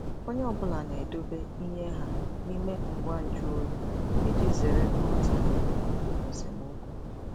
Onye ọ bụla na-edobe ihe ha n'ime ngwa nju oyi iji zere nghọtahie ma ọ bụ esemokwu.